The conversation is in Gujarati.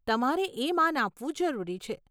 તમારે એ માન આપવું જરૂરી છે.